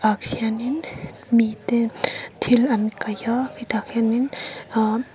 khian in mite thil an kaih a khiah khianin ahh--